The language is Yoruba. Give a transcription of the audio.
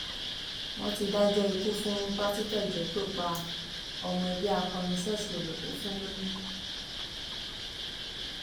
wọn ti dájọ ikú fún pásítọ ìjọ tó pa ọmọ ẹgbẹ akọrin ṣọọṣì rẹ tó fún lóyún